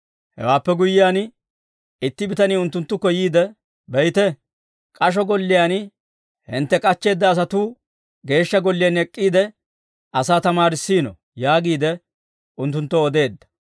Hewaappe guyyiyaan, itti bitanii unttunttukko yiide, «Be'ite; k'asho golliyaan hintte k'achcheedda asatuu Geeshsha Golliyaan ek'k'iide, asaa tamaarissiino» yaagiide unttunttoo odeedda.